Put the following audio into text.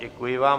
Děkuji vám.